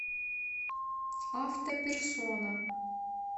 автоперсона